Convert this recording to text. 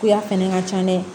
K'u ya fɛnɛ ka ca dɛ